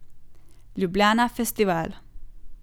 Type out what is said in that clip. Ljubljana Festival.